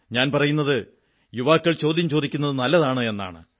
ഞാൻ പറയുന്നത് യുവാക്കൾ ചോദ്യം ചോദിക്കുന്നത് നല്ലതാണെന്നാണ്